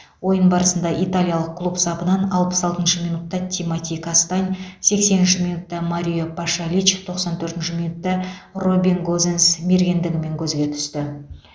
ойын барысында италиялық клуб сапынан алпыс алтыншы минутта тимоти кастань сексенінші минутта марио пашалич тоқсан төртінші минутта робин гозенс мергендігімен көзге түсті